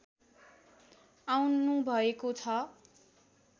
आउनुभएको छ